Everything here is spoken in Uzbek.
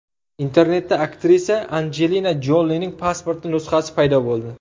Internetda aktrisa Anjelina Jolining pasporti nusxasi paydo bo‘ldi.